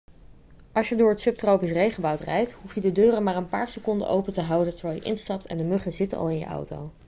als je door het subtropisch regenwoud rijdt hoef je de deuren maar een paar seconden open te houden terwijl je instapt en de muggen zitten al in je auto